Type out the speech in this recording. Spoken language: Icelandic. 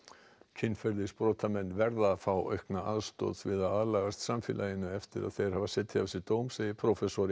kynferðisbrotamenn verða að fá aukna aðstoð við að aðlagast samfélaginu eftir að þeir hafa setið af sér dóm segir prófessor í